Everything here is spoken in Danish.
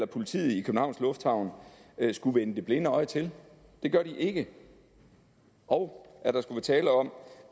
politiet i københavns lufthavn vender det blinde øje til det gør de ikke og at der er tale om